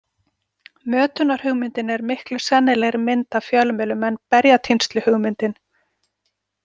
Mötunarhugmyndin er miklu sennilegri mynd af fjölmiðlum en berjatínsluhugmyndin.